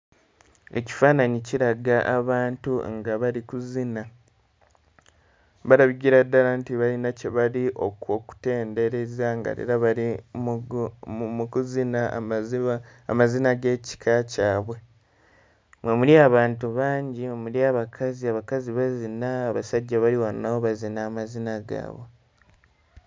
Ekifaananyi kiraga abantu nga bali kuzina. Balabikira ddala nti balina kye bali oku... okutendereza nga era bali mu kuzina amazina g'ekika kyabwe. Mwe muli abantu bangi, mwe muli abakazi, abakazi bazina, abasajja bali wano nabo bazina amazina gaabwe.